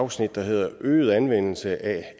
afsnit der hedder øget anvendelse af